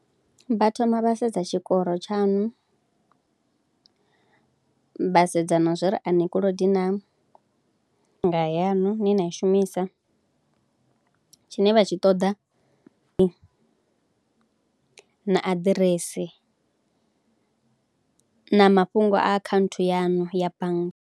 Vha thoma vha sedza tshikoro tshaṋu, vha sedza na zwa uri a ni kolodi naa, bannga yaṋu ine na i shumisa, tshine vha tshi ṱoḓa, na aḓirese na mafhungo a akhaunthu yaṋu ya bannga.